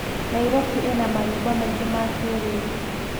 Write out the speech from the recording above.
Nairobi ĩna manyũmba maingĩ ma kĩrĩu.